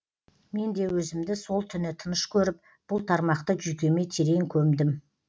мен де өзімді сол түні тыныш көріп бұл тармақты жүйкеме терең көмдім